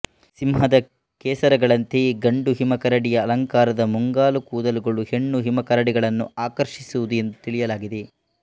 ಸಿಂಹದ ಕೇಸರಗಳಂತೆಯೇ ಗಂಡು ಹಿಮಕರಡಿಯ ಅಲಂಕಾರದ ಮುಂಗಾಲು ಕೂದಲುಗಳು ಹೆಣ್ಣು ಹಿಮಕರಡಿಗಳನ್ನು ಆಕರ್ಷಿಸುವುದು ಎಂದು ತಿಳಿಯಲಾಗಿದೆ